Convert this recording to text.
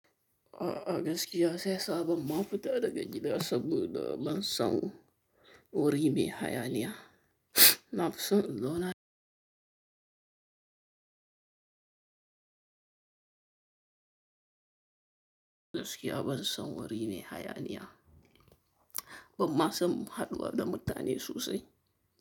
A gaskiya shiyasa ban ma fita daga gida saboda ban son wuri mai hayaniya. Nafi son in zauna. Gaskiya ban son wuri mai hayaniya. Ban ma son haɗuwa da mutane sosai.